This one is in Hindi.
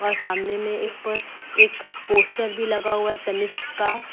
अ सामने में एक प एक पोस्टर भी लगा हुआ है तनिष्क का।